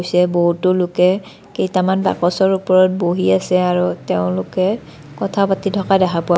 চে বহুতো লোকে কেইটামান বাকচৰ ওপৰত বহি আছে আৰু তেওঁলোকে কথা পাতি থকা দেখা পোৱা--